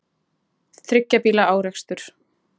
Þriggja bíla árekstur